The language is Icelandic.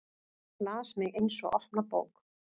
Les mig eins og opna bók.